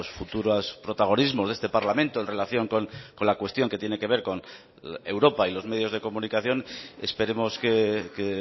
futuras protagonismos de este parlamento en relación con la cuestión que tiene que ver con europa y los medios de comunicación esperemos que